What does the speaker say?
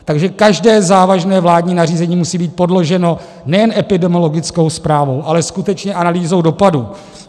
Takže každé závažné vládní nařízení musí být podloženo nejen epidemiologickou zprávou, ale skutečně analýzou dopadů.